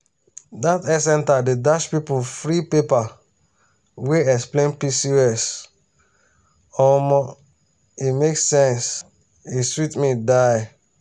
dat health center dey dash people free paper wey explain pcos omo e make sense e sweet me die.